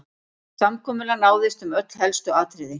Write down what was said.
Samkomulag náðist um öll helstu atriði